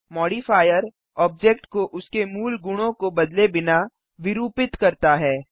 modifier object को उसके मूल गुणों को बदले बिना विरुपित करता है